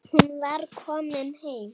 Hún var komin heim.